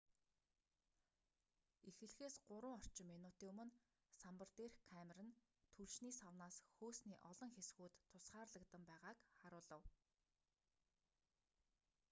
эхлэхээс 3 орчим минутын өмнө самбар дээрх камер нь түлшний савнаас хөөсний олон хэсгүүд тусгаарлагдан байгааг харуулав